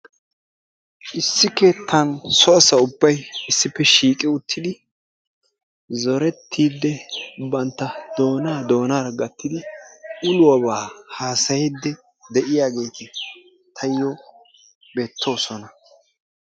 Issi keettan so asa ubbay issippe shiiqi uttidi zorettiiddi bantta doonaa doonaara gatttidi uluwaaba haasayiiddi de'iyaageeti tayyo beettoosona.